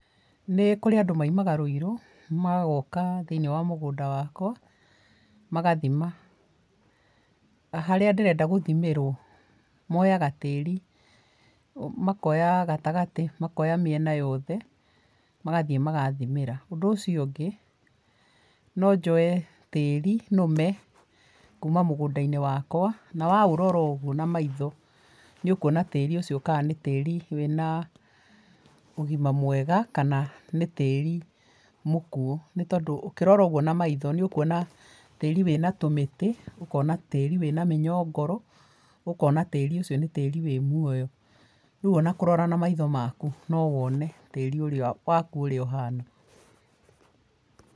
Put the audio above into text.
Nĩ kũrĩ andũ maimaga Ruiru, magoka thĩiniĩ wa mũgũnda wakwa magathima. Harĩa ndĩrenda gũthimĩrwo. Moyaga tĩri, makoya gatagatĩ, makoya mĩena yothe, magathiĩ magathimĩra. Ũndũ ũcio ũngĩ, nonjoye tĩri nũme kuma mũgũndainĩ wakwa, na waũrora ũguo na maitho nĩũkuona tĩri ũcio kana nĩ tĩri wĩna ũgima mwega kana nĩ tĩri mũkuo. Nĩtondũ ũkirora ũguo na maitho nĩũkuona tĩri wĩna tũmĩtĩ, ũkona tĩri wĩna mĩnyongoro, ũkona tĩri ũcio nĩ tĩri wĩ muoyo. Rĩu ona kũrora na maitho maku no wone tĩri ũrĩa waku ũhana.